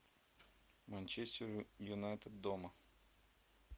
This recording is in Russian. манчестер юнайтед дома